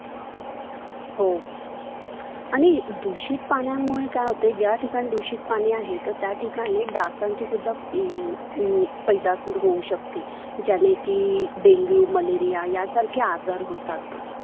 हो आणि दुषित पाण्यामुळं काय होते ज्या ठिकाणी दुषित पाणी आहे तर त्या ठिकाणी डासांची सुद्धा अह अह पैदास होऊ शकते. ज्याने की dengue, malaria या सारखे आजार होतात.